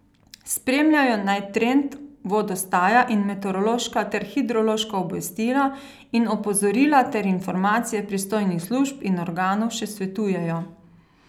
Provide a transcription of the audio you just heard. Spremljajo naj trend vodostaja in meteorološka ter hidrološka obvestila in opozorila ter informacije pristojnih služb in organov, še svetujejo.